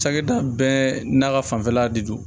Cakɛda bɛɛ n'a ka fanfɛla de don